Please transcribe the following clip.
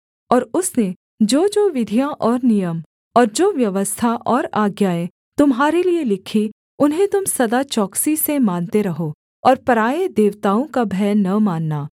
और उसने जोजो विधियाँ और नियम और जो व्यवस्था और आज्ञाएँ तुम्हारे लिये लिखीं उन्हें तुम सदा चौकसी से मानते रहो और पराए देवताओं का भय न मानना